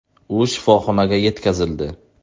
U shifoxonaga yetkazildi.